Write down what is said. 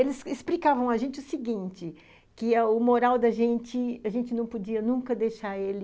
Eles explicavam a gente o seguinte, que o moral da gente, a gente não podia nunca deixar ele